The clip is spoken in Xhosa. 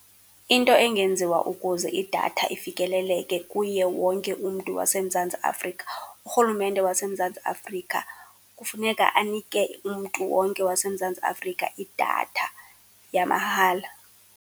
Into engenziwa ukuze idatha ifikeleleke kuye wonke umntu waseMzantsi Afrika, urhulumente waseMzantsi Afrika kufuneka anike umntu wonke waseMzantsi Afrika idatha yamahala.